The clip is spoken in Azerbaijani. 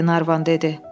Qlenarvan dedi.